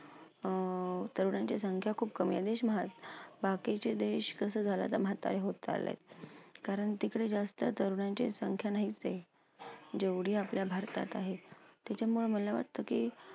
अं तरुणांची संख्या खूप कमी आहे. बाकीचे देश कसं झालं आता म्हातारे होत चाललेत, कारण तिकडे जास्त तरुणांची संख्या नाहीच आहे, जेवढी आपल्या भारतात आहे. तिच्यामुळं मला वाटतं की